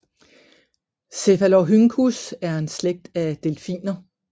Cephalorhynchus er en slægt af delfiner